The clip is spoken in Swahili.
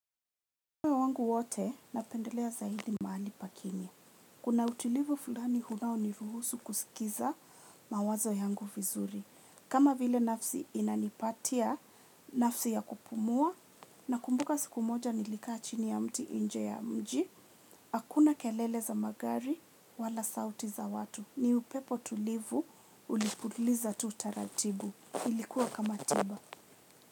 Wangu wote napendelea zaidi mahali pakimye. Kuna utulivu fulani unao niruhusu kusikiza mawazo yangu vizuri. Kama vile nafsi inanipatia nafasi ya kupumua nakumbuka siku moja nilikaa chini ya mti inje ya mji hakuna kelele za magari wala sauti za watu. Ni upepo tulivu ulipuliza tu utaratibu. Ilikuwa kama tiba.